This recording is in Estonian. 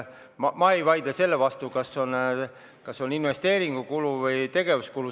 Ma ei vaidle sellega, kas see on investeeringukulu või tegevuskulu.